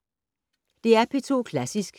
DR P2 Klassisk